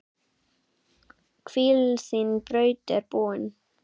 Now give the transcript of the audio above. Hvíl, þín braut er búin.